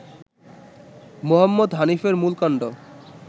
মুহম্মদ হানিফার মূল কান্ড